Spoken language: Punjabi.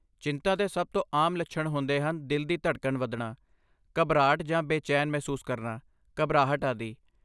ਚਿੰਤਾ ਦੇ ਸਭ ਤੋਂ ਆਮ ਲੱਛਣ ਹੁੰਦੇ ਹਨ ਦਿਲ ਦੀ ਧੜਕਣ ਵਧਣਾ, ਘਬਰਾਹਟ ਜਾਂ ਬੇਚੈਨ ਮਹਿਸੂਸ ਕਰਨਾ, ਘਬਰਾਹਟ, ਆਦਿ।